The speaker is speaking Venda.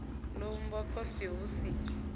ḓo vhumbwa khosi hu si